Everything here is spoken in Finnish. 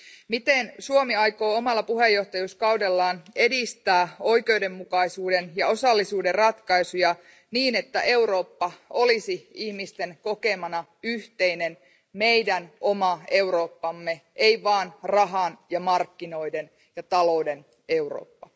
Miten Suomi aikoo omalla puheenjohtajuuskaudellaan edistää oikeudenmukaisuuden ja osallisuuden ratkaisuja, niin että Eurooppa olisi ihmisten kokemana yhteinen meidän oma Eurooppamme, ei vain rahan ja markkinoiden ja talouden Eurooppa?